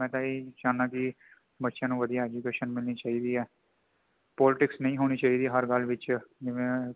ਮੈਂ ਤਾਂ ਇਹੀ ਚਾਹੁੰਦਾ ਕਿ ਬੱਚਿਆਂ ਨੂੰ ਵਧੀਆ education ਮਿਲਣੀ ਚਾਹੀਦੀ ਹੈ politics ਨਹੀਂ ਹੋਣੀ ਚਾਹੀਦੀ ਹੈ ਹਰ ਗੱਲ ਵਿਚ ਜਿਵੇਂ